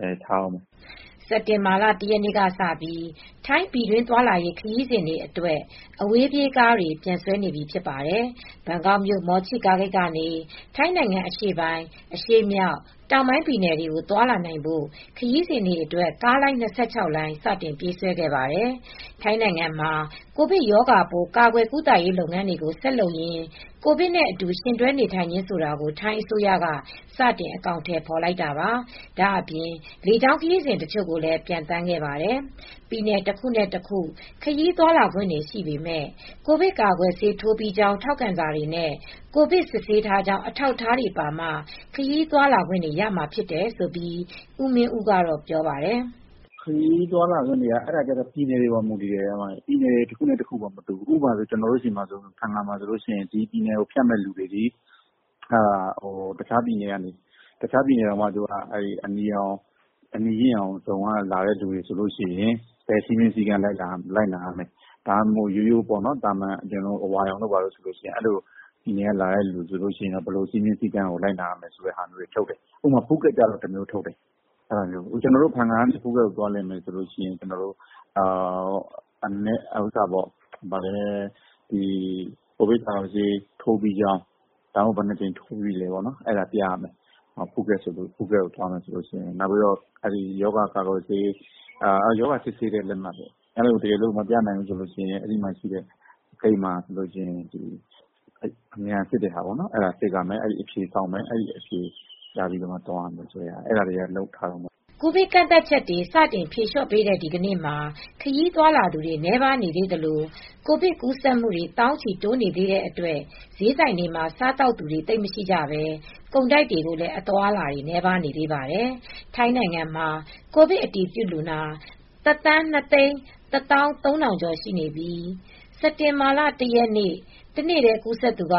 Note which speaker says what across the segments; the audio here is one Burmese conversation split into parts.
Speaker 1: ပိတ်ထားတုန်းပဲ။"
Speaker 2: စက်တင်ဘာလ ၁ ရက်နေ့ကစပြီး ထိုင်း ပြည်တွင်းသွားလာရေး ခရီးစဉ်တွေအတွက် အဝေးပြေးကားတွေ ပြန်ဆွဲနေပြီဖြစ်ပါတယ်။ ဘန်ကောက်မြို့တော်က မော်ချိလို့ခေါ်ကြတဲ့ အဝေးပြေးကားဂိတ်ကေနေ ထိုင်းနိုင်ငံ အရှေ့ပိုင်း၊ အရှေ့မြောက်၊ တောင်ပိုင်းပြည်နယ်တွေကို သွးာလာနိုင်ဖို့ ခရီးစဉ်တွေအတွက် ကားလိုင်း၂၆ လိုင်း စတင်ပြေးဆွဲပါတယ်။ ထိုင်းနိုင်ငံမှာ ကိုဗစ်ရောဂါပိုး ကာကွယ်ကုသရေးလုပ်ငန်းတွေကို ဆက်လုပ်ရင်း ကိုဗစ်နဲ့အတူ ယှဉ်တွဲနေထိုင်ခြင်းဆိုတာကို ထိုင်းအစိုးရက စတင်အကောင်ထည်ဖော်လိုက်တာပါ။ ဒါ့အပြင် လေကြောင်းခရီးစဉ်တချို့လည်း စထွက်ပါတယ်။ ပြည်နယ်တခုနဲ့တခု ခရီးသွားလာခွင့်တွေရှိပေမယ့် ကိုဗစ်ကာကွယ်ဆေးထိုးပြီးကြောင်း ထောက်ခံစာတွေနဲ့ ကိုဗစ် စစ်ဆေးထားကြောင်း အထောက်အထားတွေပါမှ ခရီးသွားလာခွင့် ရမှာဖြစ်တယ်လို့ ဦးမင်းဦးက ပြောပါတယ်။
Speaker 1: "ခရီးသွားလာခွင့်က ပြည်နယ်တွေပေါ်မူတည်တယ်။ ပြည်နယ်တခုနဲ့တခု မတူဘူ။ ဥပမာ ဖန်ငါးမှာဆိုရင် ဒီပြည်နယ်ကိုဖြတ်မယ်ဆိုရင် တခြားပြည်နယ် အနီရင့်ရောင်ဇုန်ကလာရင် ဘယ်စည်းမျဉ်းစည်းကမ် းလိုက်နာရမယ်၊ အဝါရောင်ဇုန်ကလာရင် ဘယ်လိုစည်းမျဉ်း လိုက်နာရမယ်ဆိုတာထုတ်တယ်။ ဖူးခက်ကျတော့ တမျိုးထုတ်တယ်။ ကျနော်တို့ ဖန်ငကနေ ဖူးခက်ကိုသွားမယ်ဆိုရင် ကိုဗစ်ကာကွယ်ဆေး ထိုးပြီးကြောင်း၊ ဘယ်နှစ်ကြိမ်ထိုးပြီးကြောင်း ဆိုတာပြရမယ်။ ဖူးခက်သွားမယ်ဆိုရင် ရောဂါစစ်ဆေးထားတဲ့ စာပြရမယ်။ မပြနိုင်ရင် ဂိတ်မှာ အမြန်စစ်ရမယ်။ စစ်ပြီးမှ သွားရမယ်ဆိုတာတွေကို လုပ်ထားတယ်။ အဲဒါတွေကလုပ်ထားတုံးပဲ။
Speaker 2: " ကိုဗစ်ကန့်သတ်ချက်တွေ စတင် ဖြေလျော့ပေးတဲ့ ဒီကနေ့မှာ ခရီးသွားလာသူတွေ နည်းပါးနေသေးသလို ကိုဗစ်ကူးစက်မူတွေ သောင်းချီ တိုးနေသေးတဲ့အတွက် ဈေးဆိုင်တွေမှာ စားသောက်သူတွေ သိပ်မရှိကြဘဲ ကုန်တိုက်တွေမှာလည်း အသွားအလာ နည်းပါးနေသေးပါတယ်။ ထိုင်းနိုင်ငံမှာ ကိုဗစ်အတည်ပြုလူနာ ၁,၂၁၃,၀၀၀ ကျော်ရှိနေပြီး စက်တင်ဘာလ ၁ ရက်နေ့ တနေ့တည် းကူးစက်သူက ၁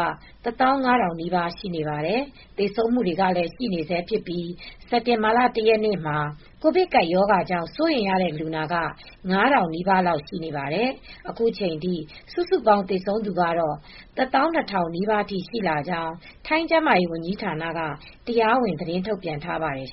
Speaker 2: ၅,၀၀၀ နီးပါးရှိပါတယ်။ သေဆုံးမူတွေလည်း ရှိနေဆဲဖြစ်ပြီး စက်တင်ဘာ ၁ ရက်နေ့မှာ ကိုဗစ်ကပ်ရောဂါကြောင့် စိုးရိမ်ရတဲ့လူနာက ၅,၀၀၀ နီးပါးလောက်ရှိပါတယ်။ အခုချိန်ထိ စုစုပေါင်းသေဆုံးသူကတော့ ၁၂,၀၀၀ နီးပါးရှိကြောင်း ထိုင်းကျန်းမာရေးဝန်ကြီးဌာနက တရားဝင်သတင်းထုတ်ပြန်ထားပါတယ်